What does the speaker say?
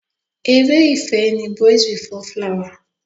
Ere ìfẹ́ ni Boys before flower.